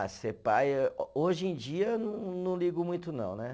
Ah, ser pai eh, hoje em dia eu não, não ligo muito não, né?